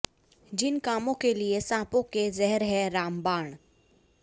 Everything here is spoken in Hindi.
जिन कामों के लिए सांपों के ज़हर हैं रामबाण